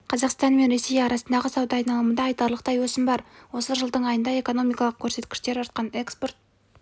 қазақстан мен ресей арасындағы сауда айналымында айтарлықтай өсім бар осы жылдың айында экономикалық көрсеткіштер артқан экспорт